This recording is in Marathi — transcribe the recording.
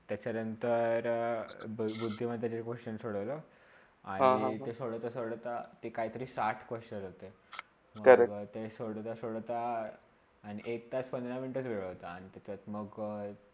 त्याच्यानंतर दोन बुद्धिमतेचे question सोडोवला आणि ते सोडोता -सोडोता ते काहितरी साठ questions होते. तर ते सोडोता -सोडोता आणि एक तास पंधरा मिनटा सोडोता आणि त्याचात मग